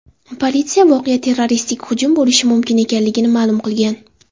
Politsiya voqea terroristik hujum bo‘lishi mumkin ekanligini ma’lum qilgan.